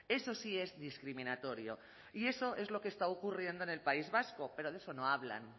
eso sí es discriminatorio y eso es lo que está ocurriendo en el país vasco pero de eso no hablan